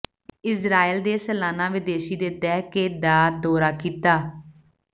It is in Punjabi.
ਇਸਰਾਏਲ ਦੇ ਸਾਲਾਨਾ ਵਿਦੇਸ਼ੀ ਦੇ ਦਹਿ ਕੇ ਦਾ ਦੌਰਾ ਕੀਤਾ